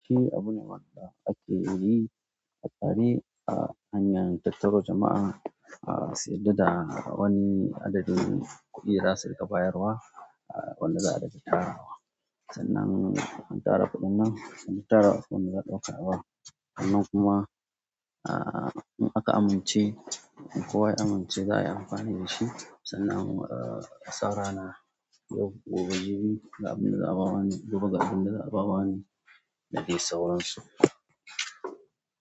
Shi abune wanda ake yi a tare, a hanyar tattaro jama'a, ah su yarda da wani adadin kuɗi da za su riƙa bayarwa, wanda za a riƙa tarawa. Sannan in an tara kuɗin nan, an tara su wani za a ɗauka bawa. Sannan kuma, ah in aka amince, in kowa ya amince za a yi amfani da shi, sannan asa rana, yau gobe jibi ga abun da za a ba wane, gobe ga abun da za a ba wane. Da ke sauransu.